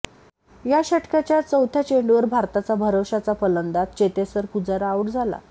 या षटकाच्या चौथ्या चेंडूवर भारताचा भरवश्याचा फलंदाज चेतेश्वर पुजारा आऊट झाला